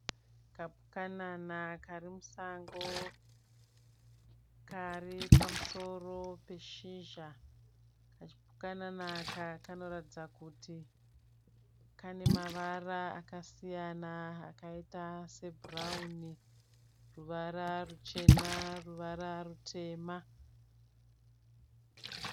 Kapukanana karimusango. Karipamusoro peshizha . Kachipukanana aká kanoratidza kuti kane mavara akasiyana akaita se bhurauni, ruvara ruchena, ruvara rutema.